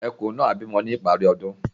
Ẹ̀kùn náà á bí mọ́ ní ìparí ọ̀dún.